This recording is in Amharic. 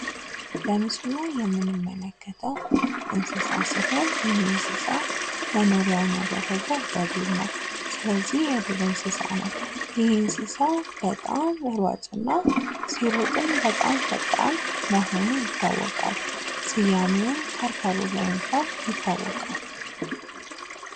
በምስሉ ላይ የምንመለከተው እንስሳ ሲሆን ፤ ይህ እንስሳ መኖሪያውን ያደረገው በዱር ነው ፤ ስለዚህ የዱር እንስሳ ነው ፤ ይህ እንስሳ በጣም ሯጭ እና ሲሮጥም በጣም ፈጣን መሆኑ ይታወቃል ፤ ስያሜዉም ከርከሮ በመባል ይታወቃል።